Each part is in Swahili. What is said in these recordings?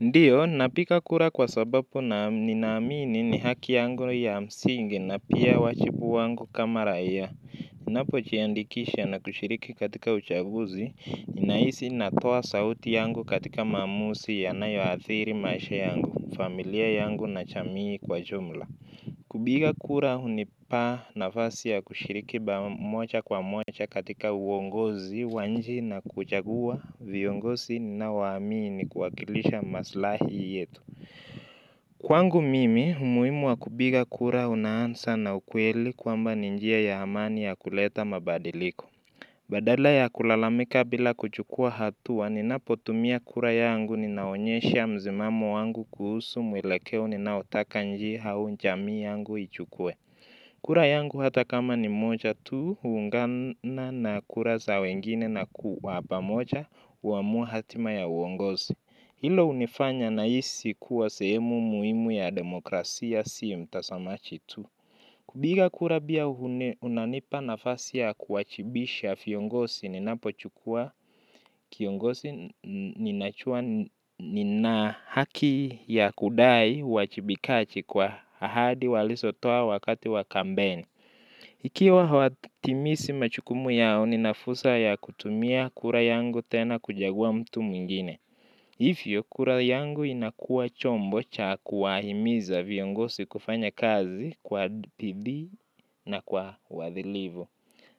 Ndiyo, napiga kura kwa sababu ninaamini ni haki yangu ya msingi na pia wajibu wangu kama raia. Ninapojiandikisha na kushiriki katika uchaguzi, ninaisi natoa sauti yangu katika maamuzi ya nayoathiri maisha yangu, familia yangu na jamii kwa jumla. Kupiga kura hunipa nafasi ya kushiriki moja kwa moja katika uongozi, nchi na kuchagua, viongozi ninaowamini kuwakilisha maslahi yetu. Kwangu mimi, umuhimu wa kupiga kura unaanza na ukweli kwamba ni njia ya amani ya kuleta mabadiliko. Badala ya kulalamika bila kuchukua hatua ninapotumia kura yangu ninaonyesha msimamo wangu kuhusu mwelekeo ninaotaka nchi au jamii yangu ichukue. Kura yangu hata kama ni moja tu huungana na kura za wengine na kwa pamoja kuamua hatima ya uongozi. Hilo hunifanya nahisi kuwa sehemu muhimu ya demokrasia sio mtazamaji tu. Kupiga kura pia unanipa nafasi ya kuwajibisa viongozi ninapochukua kiongozi ninajua nina haki ya kudai uwajibikaji kwa ahadi walizotoa wakati wa kampeni. Ikiwa hawatimizi majukumu yao nina fursa ya kutumia kura yangu tena kuchagua mtu mwingine hivyo, kura yangu inakua chombo cha kuwahimiza viongozi kufanya kazi kwa bidii na kwa uadilifu.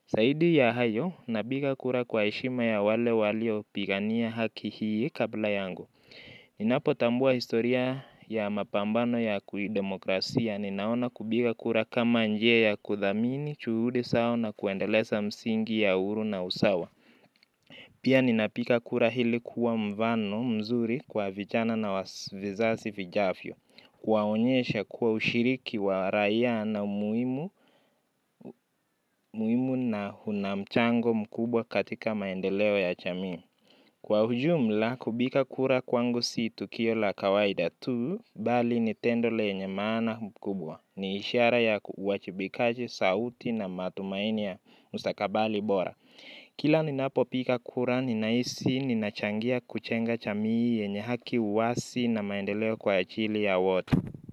Zaidi ya hayo, napiga kura kwa heshima ya wale waliopigania haki hii kabla yangu. Ninapotambua historia ya mapambano ya kidemokrasia, ninaona kupiga kura kama njia ya kudhamini, juhudi zao na kuendeleza msingi ya uhuru na usawa. Pia ninapiga kura hili kuwa mfano mzuri kwa vijana na vizazi vijafyo, kuwaonyesha kuwa ushiriki wa raia na muhimu na una mchango mkubwa katika maendeleo ya jamii. Kwa ujumla, kupiga kura kwangu si tukio la kawaida tu, bali ni tendo lenye maana mkubwa, ni ishara ya uawajibikaji, sauti na matumaini ya mustakabali bora. Kila ninapopiga kura ninahisi ninachangia kujenga jamii yenye haki uwazi na maendeleo kwa ajili ya watu.